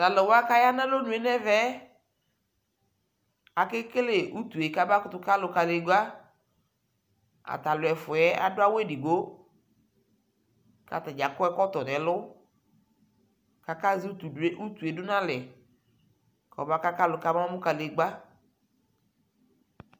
Talʋwa kaya nʋ alonʋ nʋ ɛvɛ yɛ akekele utue kʋ abakʋtu ka alʋ kadigba Atalʋ ɛfu yɛ adʋ awu edigbo kʋ atadza akɔ ɛkɔtɔ nʋ ɛlʋ kʋ azɛ utu utue dʋ nʋ alɛ kʋ ɔbaka kalʋ kabamʋ kadigba